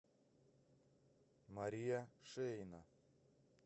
мария шеина